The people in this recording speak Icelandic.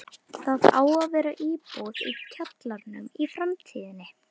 Það á að vera íbúð í kjallaranum í framtíðinni.